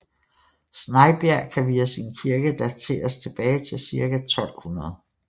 Snejbjerg kan via sin kirke dateres tilbage til ca 1200